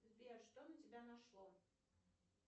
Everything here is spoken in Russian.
сбер что на тебя нашло